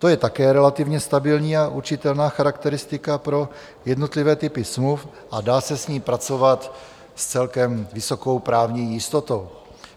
To je také relativně stabilní a určitelná charakteristika pro jednotlivé typy smluv a dá se s ní pracovat s celkem vysokou právní jistotou.